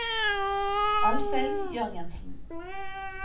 Alfhild Jørgensen